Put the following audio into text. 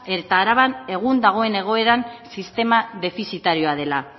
eta araban egun dagoen egoeran sistema defizitarioa dela